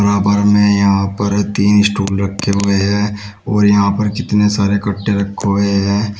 यहां पर हमें यहां पर तीन स्टूल रखे हुए है और यहां पर कितने सारे कट्टे रखे हुए हैं।